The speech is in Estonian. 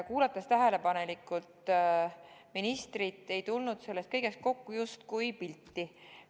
Kuulates tähelepanelikult ministrit, ei tulnud sellest kõigest justkui pilti kokku.